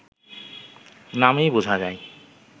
নামেই বোঝা যায়